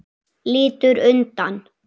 Lítur undan.